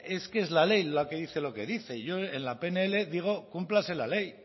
es que es la ley la que dice lo que dice y yo en la pnl digo cúmplase la ley